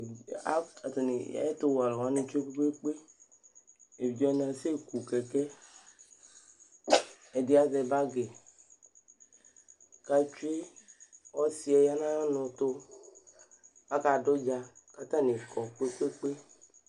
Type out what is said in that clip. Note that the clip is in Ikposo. Ɛtʊwɛ alʊwanɩ ƙéɓʊi ƙpékpé Éʋɩɖjé wani aséƙʊ ƙéké Ɛɖɩ azɛ ɓagi ƙétsoé Ɔsi ƴa ŋɔŋʊtʊ ƙakaɖʊ ɖja, ƙatanɩ ƙɔ ƙpékpé